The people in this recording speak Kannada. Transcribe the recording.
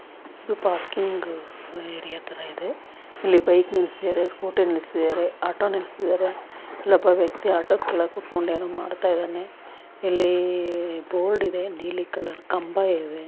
ಪಾರ್ಕಿಂಗ್ ಹತರ ಇದೆ ಇಲ್ಲಿ ಬೈಕ್ ನಿಲ್ಸಿಯರ್ ಸ್ಕೂಟಿ ನಿಲ್ಸಿಯರ್ ಆಟೋ ನಿಲ್ಸಿದ್ದಾರೆ ಇಲ್ಲಿ ಒಬ್ಬ ವ್ಯಕ್ತಿ ಆಟೋ ಕೆಳಗ ಕೊತ್ಕೊಂಡು ಏನು ಮಾಡ್ತಾ ಇದ್ದಾನೆ ಇಲ್ಲಿ ಬೋರ್ಡ್ ಇದೆ ನೀಲಿ ಕಲರ್ ಕಂಬಾ ಇದೆ.